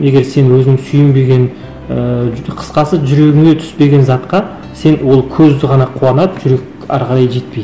егер сен өзің сүйенбеген ыыы қысқасы жүрегіңе түспеген затқа сен ол көзді ғана қуанады жүрек әрі қарай жетпейді